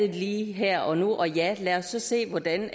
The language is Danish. lige her og nu og ja lad os så se hvordan vi